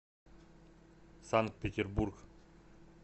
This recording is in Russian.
санкт петербург